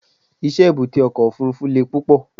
iṣẹ èbúté oko ofurufu le púpò